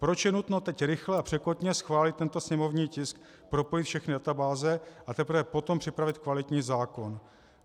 Proč je nutno teď rychle a překotně schválit tento sněmovní tisk, propojit všechny databáze, a teprve potom připravit kvalitní zákon?